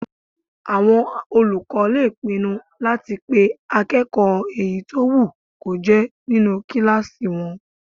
Àwọn olùkọ́ lè pinnu láti pé akẹ́kọ̀ọ́ èyí tó wù kó jẹ́ nínu kílásì wọn